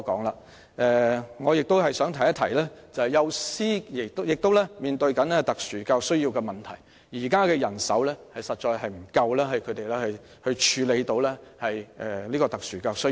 然而，我想指出其實幼師亦正面對特殊教育需要的問題，他們目前的人手確實不足以處理特殊教育需要。